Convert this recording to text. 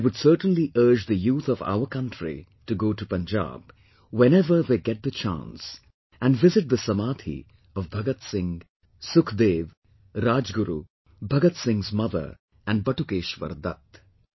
And I would certainly urge the youth of our country to go to Punjab, whenever they get the chance, and visit the 'samadhi' of Bhagat Singh, Sukhdev, Rajguru, Bhagat Singh's mother and Batukeshwar Dutt